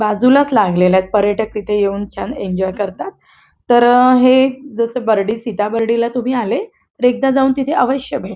बाजूलाच लागलेलेत पर्यटक तिथे येऊन छान एंजॉय करतात तर हे जसं बरडी सीता बरडीला तुम्ही आले तर एकदा जाऊन तिथे अवश्य भेट--